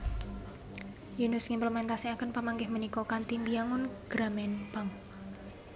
Yunus ngimplementasikaken pamanggih punika kanthi mbiyangun Grameen Bank